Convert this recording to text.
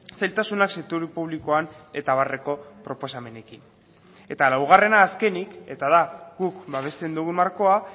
zailtasunak sektore publikoan eta abarreko proposamenekin eta laugarrena azkenik eta da guk babesten dugun markoa